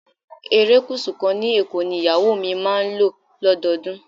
Erékùsù kan ní Èkó ni ìyàwó mi máa ń lò lọ́dọọdún.